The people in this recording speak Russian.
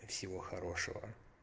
всего хорошего